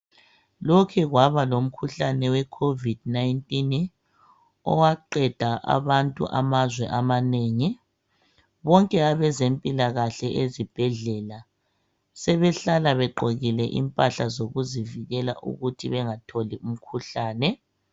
Lokhe kwaba lomkhuhlane we"covid-19" owaqeda abantu amazwe amanengi, bonke abezempilakahle ezibhedlela sebehlala begqokile impahla zokuzivikela ukuthi bengatholi umkhuhlane.